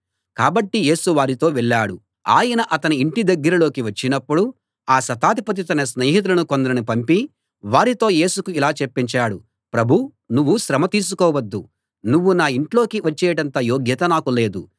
కాబట్టి యేసు వారితో వెళ్ళాడు ఆయన అతని ఇంటి దగ్గరలోకి వచ్చినప్పుడు ఆ శతాధిపతి తన స్నేహితులను కొందరిని పంపి వారితో యేసుకు ఇలా చెప్పించాడు ప్రభూ నువ్వు శ్రమ తీసుకోవద్దు నువ్వు నా ఇంట్లోకి వచ్చేటంత యోగ్యత నాకు లేదు